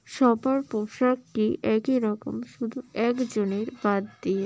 সবার পোশাকটি একই রকম শুধু একজনের বাদ দিয়ে।